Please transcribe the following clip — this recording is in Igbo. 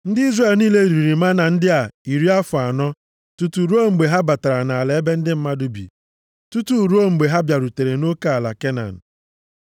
Ndị Izrel niile riri mánà ndị a iri afọ anọ + 16:35 Mánà kwụsịrị isi nʼelu dara ụmụ Izrel, mgbe ha mesịrị mmemme oriri achịcha na-ekoghị eko nʼala Kenan. \+xt Jos 5:10-12\+xt* tutu ruo mgbe ha batara nʼala ebe ndị mmadụ bi, tutu ruo mgbe ha bịarutere nʼoke ala Kenan.